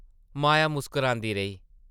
माया मुस्करांदी रेही ।